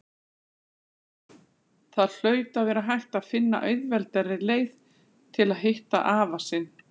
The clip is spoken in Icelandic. Það hlaut að vera hægt að finna auðveldari leið til að hitta afa sinn.